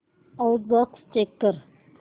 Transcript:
outbox check कर